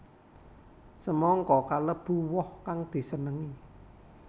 Semangka kalebu woh kang disenengi